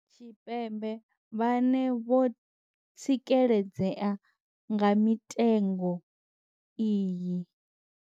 Tshipembe vhane vho tsikeledzea nga mitengo iyi.